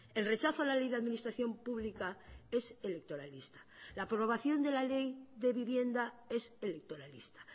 el rechazo a la ley de administración pública es electoralista la aprobación de la ley de vivienda es electoralista